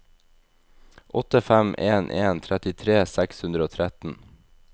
åtte fem en en trettitre seks hundre og tretten